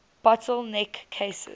bottle neck cases